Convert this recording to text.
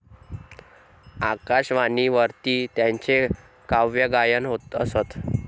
आकाशवाणीवरती त्यांचे काव्यगायन होत असते.